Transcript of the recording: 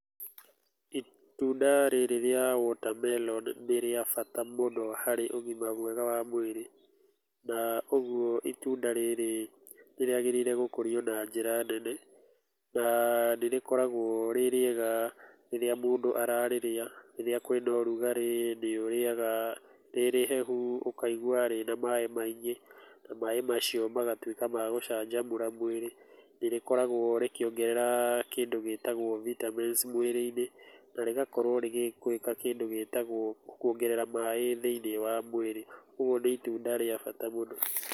Itunda rĩrĩ rĩa watermelon nĩrĩa bata mũno harĩ ũgima mwega wa mwĩrĩ. Na ũguo itunda rĩrĩ nĩrĩagĩrĩirwo gũkũrio na njĩra nene na nĩrĩkoragwo rĩrĩ rĩega rĩrĩa mũndũ ararĩrĩa. Rĩrĩa kũrĩ na ũrugarĩ nĩũrĩrĩyaga rĩ rĩhehu na ũkaigwa rĩna maaĩ maingĩ, na maaĩ macio magatuĩka ma gũcanjamũra mwĩrĩ. Nĩrĩkoragwo rĩkĩongerera kĩndũ gĩtagwo vitamins mwĩrĩinĩ, na rĩgakorwo rĩgĩka kĩndũ gĩtagwo kuongerera maaĩ thĩiniĩ wa mwĩrĩ. Ũguo nĩ itunda rĩa bata mũno.